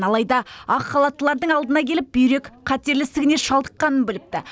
алайда ақ халаттылардың алдына келіп бүйрек қатерлі ісігіне шалдыққанын біліпті